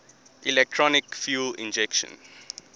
electronic fuel injection